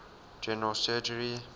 general surgery